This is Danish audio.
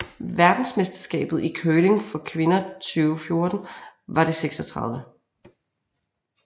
Verdensmesterskabet i curling for kvinder 2014 var det 36